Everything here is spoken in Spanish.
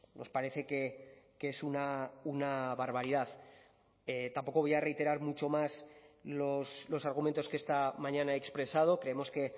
nos parece que es una barbaridad tampoco voy a reiterar mucho más los argumentos que esta mañana he expresado creemos que